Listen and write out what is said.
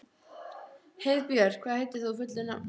Heiðbjört, hvað heitir þú fullu nafni?